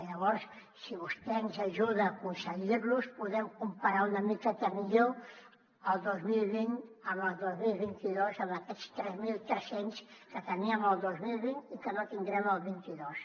llavors si vostè ens ajuda a aconseguir los podrem comparar una miqueta millor el dos mil vint amb el dos mil vint dos amb aquests tres mil tres cents que teníem el dos mil vint i que no tindrem el vint dos